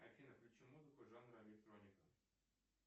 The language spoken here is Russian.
афина включи музыку жанра электроника